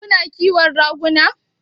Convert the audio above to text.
Kuna ƙiwon raguna?